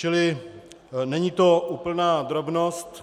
Čili není to úplná drobnost.